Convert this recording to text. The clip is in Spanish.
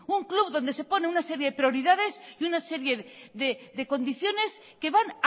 un club donde se ponen una serie de prioridades y una serie de condiciones que van